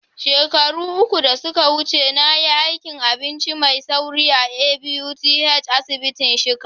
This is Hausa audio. Shekaru uku da suka wuce, na yi aikin abinci mai sauri a ABUTH asibiti shika.